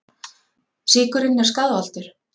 Sykurinn er skaðvaldur